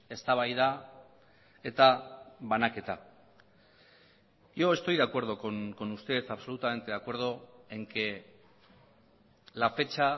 eztabaida eta banaketa yo estoy de acuerdo con usted absolutamente de acuerdo en que la fecha